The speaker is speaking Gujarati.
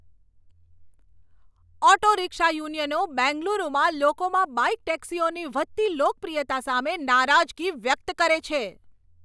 ઓટો રિક્ષા યુનિયનો બેંગલુરુમાં લોકોમાં બાઇક ટેક્સીઓની વધતી લોકપ્રિયતા સામે નારાજગી વ્યક્ત કરે છે.